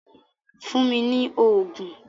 Fún mi ni oògùn!